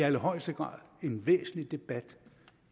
allerhøjeste grad en væsentlig debat